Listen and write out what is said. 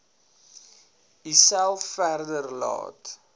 uself verder laat